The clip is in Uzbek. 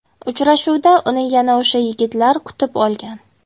Uchrashuvda uni yana o‘sha yigitlar kutib olgan.